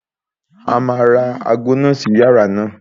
A máa ra aago sí inú yàrá náà.